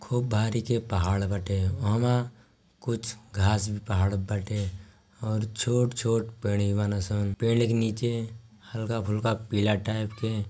खूब भारी के पहाड़ बटे ओहमा कुछ घाँस भी पहाड़ बटे और छोट छोट पेड़ीवा ना सान पेड़ के नीचे हल्का फुल्का पीला टाइप के।